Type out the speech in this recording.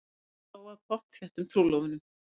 Stundum dró að pottþéttum trúlofunum.